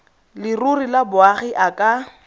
leruri ya boagi a ka